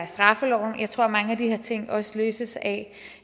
straffeloven jeg tror at mange af de her ting også løses af